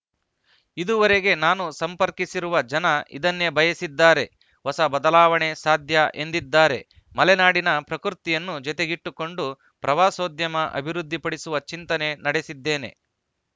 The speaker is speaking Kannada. ಇದುವರೆಗೆ ನಾನು ಸಂಪರ್ಕಿಸಿರುವ ಜನ ಇದನ್ನೇ ಬಯಸಿದ್ದಾರೆ ಹೊಸ ಬದಲಾವಣೆ ಸಾಧ್ಯ ಎಂದಿದ್ದಾರೆ ಮಲೆನಾಡಿನ ಪ್ರಕೃತಿಯನ್ನು ಜೊತೆಗಿಟ್ಟುಕೊಂಡು ಪ್ರವಾಸೋದ್ಯಮ ಅಭಿವೃದ್ಧಿಪಡಿಸುವ ಚಿಂತನೆ ನಡೆಸಿದ್ದೇನೆ